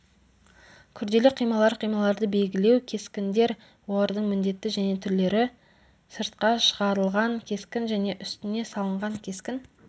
күрделі қималар қималарды белгілеу кескіндер олардың міндеті және түрлері сыртқа шығарылған кескін және үстіне салынған кескін